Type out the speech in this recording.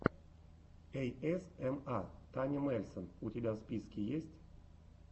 эйэсэма таня мельсон у тебя в списке есть